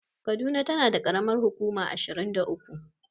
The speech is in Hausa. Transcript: Kaduna tana da ƙaramar hukuma ashirin da uku.